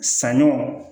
Sanɲɔ